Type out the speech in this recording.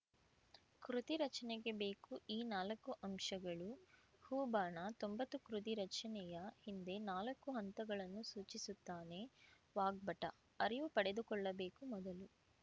ಕೃತಿ ರಚನೆಗೆ ಬೇಕು ಈ ನಾಲ್ಕು ಅಂಶಗಳು ಹೂ ಬಾಣ ತೊಂಬತ್ತು ಕೃತಿ ರಚನೆಯ ಹಿಂದೆ ನಾಲ್ಕು ಹಂತಗಳನ್ನು ಸೂಚಿಸುತ್ತಾನೆ ವಾಗ್ಭಟ ಅರಿವು ಪಡೆದುಕೊಳ್ಳಬೇಕು ಮೊದಲು